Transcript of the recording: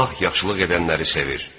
Allah yaxşılıq edənləri sevir.